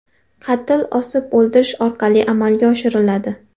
Qatl osib o‘ldirish orqali amalga oshiriladi.